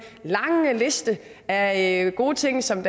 lange liste af gode ting som